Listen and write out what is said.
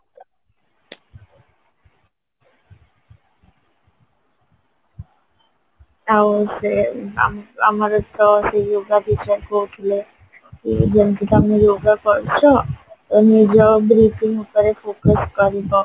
ଆଉ ସେ ଆମ ଆମର ତ କହୁଥିଲେ କି ଯେମତି ତମେ yoga କରୁଚ ନିଜ ଉପରେ focus କରିବ